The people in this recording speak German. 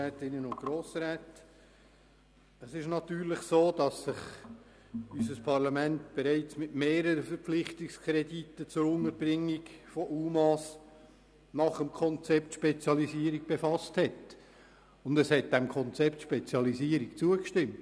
Es ist natürlich so, dass sich das Parlament bereits mit mehreren Krediten zur Unterbringung von UMA nach dem Konzept «Spezialisierung» befasst hat, und es hat dem Konzept «Spezialisierung» zugestimmt.